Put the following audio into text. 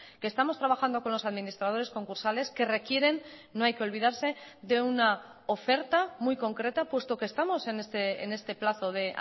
que estamos trabajando con los administradores concursales que requieren no hay que olvidarse de una oferta muy concreta puesto que estamos en este plazo de